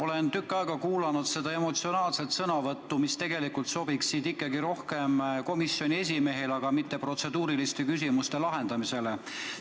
Olen tükk aega kuulanud neid emotsionaalseid sõnavõtte, mis tegelikult tuleks suunata ikkagi komisjoni esimehele, mitte esitada neid protseduuriliste küsimuste lahendamise raames.